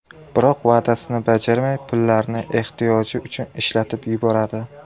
Biroq va’dasini bajarmay, pullarni ehtiyoji uchun ishlatib yuboradi.